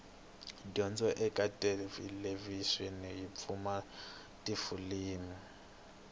dyondzo ekathelevishini yipfuna tifilimu